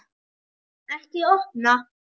Ekki opna